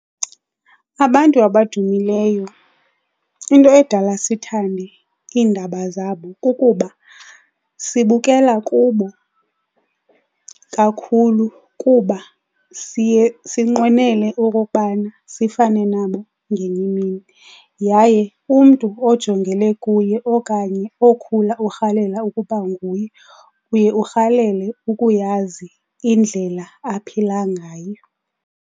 Abantu abadumileyo into edala sithande iindaba zabo kukuba sibukela kubo kakhulu kuba siye sinqwenele okokubana sifane nabo ngenye imini. Yaye umntu ojongele kuye okanye okhula urhalela ukuba nguye uye urhalela ukuyazi indlela aphila ngayo.